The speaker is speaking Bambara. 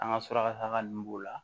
An ka suraka taga nunnu b'o la